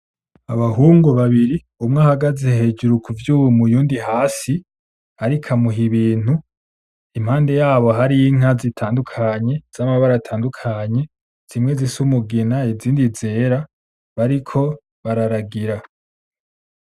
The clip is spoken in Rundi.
Abahungu babiri, umwe ahagaze hejuru kuvyuma, uwundi hasi ariko amuha ibintu, impande yabo hari inka zitandukanye z'amabara atandukanye. Zimwe zifise umugina izindi zera, bariko bararagira.